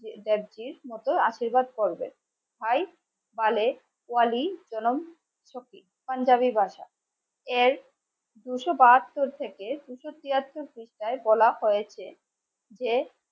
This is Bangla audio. আশীর্বাদ করবেন. তাই পাঞ্জাবি ভাসা এর দুশো বাহাত্তর থেকে দুশ তিয়াত্তর বলা হয়েছে যে